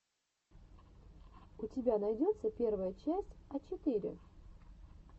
у тебя найдется первая часть а четыре